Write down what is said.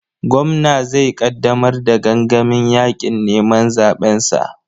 Gwamna zai ƙaddamar da gangamin yaƙin neman zaɓensa.